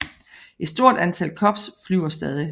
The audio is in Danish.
Et stort antal Cubs flyver stadig